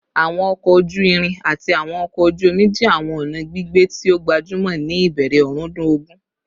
Awọn ọkọ oju-irin ati awọn ọkọ oju omi jẹ awọn ọna gbigbe ti o gbajumọ ni ibẹrẹ ọrundun ogun